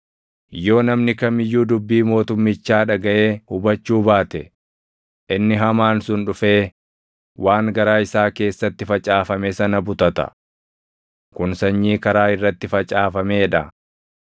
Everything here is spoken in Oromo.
Yoo namni kam iyyuu dubbii mootummichaa dhagaʼee hubachuu baate, inni hamaan sun dhufee waan garaa isaa keessatti facaafame sana butata. Kun sanyii karaa irratti facaafamee dha.